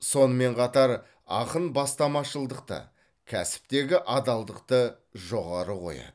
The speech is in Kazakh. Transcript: сонымен қатар ақын бастамашылдықты кәсіптегі адалдықты жоғары қояды